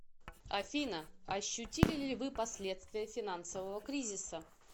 афина ощутили ли вы последствия финансового кризиса